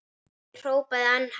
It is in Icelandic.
Ég hrópaði enn hærra.